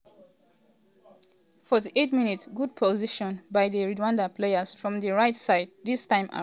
48mins- good possession by di rwandan players from di rigjht side dis time around troost-ekong clear di ball comot for super eagles box 18.